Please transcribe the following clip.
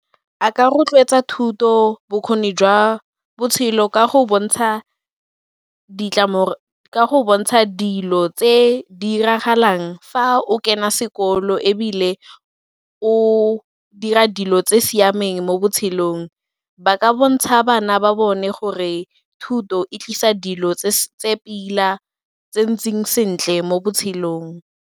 A ka rotloetsa thuto, bokgoni jwa botshelo ka go bontsha dilo tse di diragalang fa o kena sekolo ebile o dira dilo tse siameng mo botshelong. Ba ka bontsha bana ba bone gore thuto e tlisa dilo tse pila tse ntseng sentle mo botshelong.